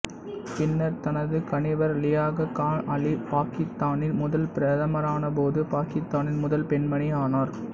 பின்னர் தனது கணவர் லியாகத் கான் அலி பாக்கித்தானின் முதல் பிரதமரானபோது பாக்கித்தானின் முதல் பெண்மணி ஆனார்